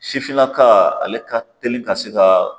Sifinnaka ale ka teli ka se ka